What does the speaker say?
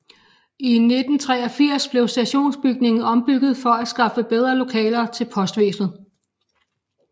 I 1983 blev stationsbygningen ombygget for at skaffe bedre lokaler til Postvæsenet